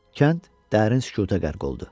Kənd dərin sükuta qərq oldu.